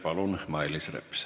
Palun, Mailis Reps!